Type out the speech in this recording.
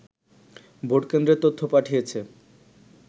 ভোটকেন্দ্রের তথ্য পাঠিয়েছে